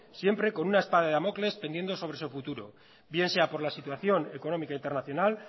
siempre con una espada de damocles pendiendo sobre su futuro bien sea por la situación económica internacional